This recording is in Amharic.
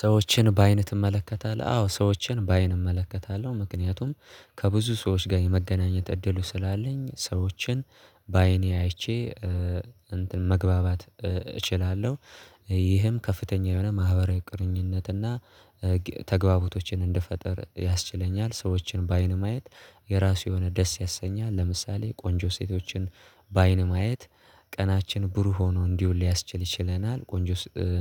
ሰዎችን በአይንህ ትመለከታለህ? አዎ ሰዎችን በአይን እመለከታለሁ ምክንያቱም ከብዙ ሰዎች ጋር የመገናኘት እድሉ ስላለኝ ሰዎችን በአይኔ አይቼ እንትን መግባባት እችላለሁ። ይህም ከፍተኛ የሆነ ማህበራዊ ቁርኝነትና ተግባቦቶችን እንድፈጥር ያስችለኛል። ሰዎችን በአይን ማየት የራሱ የሆነ ደስ ያሰኛል። ለምሳሌ ቆንጆ ሴቶችን በአይን ማየት ቀናችን ብሩህ ሆኖ እንዲውል ሊያስችል ይችለናል ቆንጆ